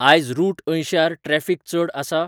आज रुट अंयश्यार ट्रॅफिक चड आसा?